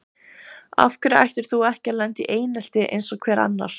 Af hverju ættir þú ekki að lenda í einelti eins og hver annar?